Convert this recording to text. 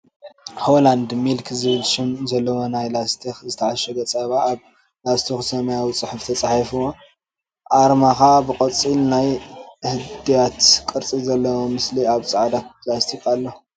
ሆላንድ ሚልክ ዝብል ሽም ዘለዎ ናይ ላስቲክ ዝተዓሸገ ፃባ ኣብ ላስቲኩ ብሰማያዊ ፅሑፍ ተፃሒፍዎ ኣርመካ ብቆፃል ናይ ህድያት ቅርፂ ዘለዎ ምስሊ ኣብ ፃዕዳ ላስቲክ ኣሎ።